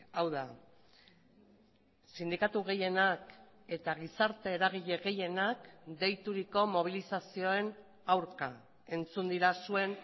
hau da sindikatu gehienak eta gizarte eragile gehienak deituriko mobilizazioen aurka entzun dira zuen